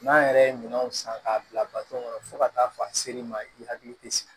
N'an yɛrɛ ye minɛnw san k'a bila kɔnɔ fo ka taa fɔ a ser'i ma i hakili tɛ sigi